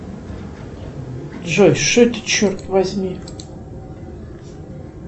джой что это черт возьми